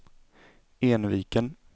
Enviken